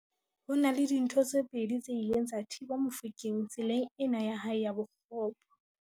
Ho na le dintho tse pedi tse ileng tsa thiba Mofokeng tseleng ena ya hae ya bokgopo.